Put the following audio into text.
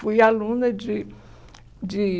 Fui aluna de de...